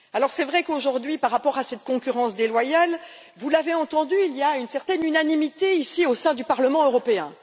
C'est vrai qu'aujourd'hui, par rapport à cette concurrence déloyale vous l'avez entendu il y a une certaine unanimité, ici, au sein du Parlement européen.